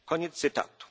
nurtu. Koniec